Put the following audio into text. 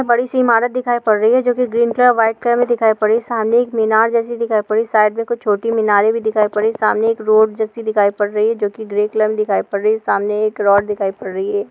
बड़ी से इमारत दिखाई पर रही है जो के ग्रीन और व्हाइट कलर मे दिखाई पर रही हैं सामने मीनार जैसी दिखाई पर रही साइड मे छोटी मीनरे पर रही है सामने एक रोड जैसी दिखाई पर रही हैं जोकि ग्रे कलर मे दिखाई पर रही है सामने एक रोड दिखाई पर रही हैं।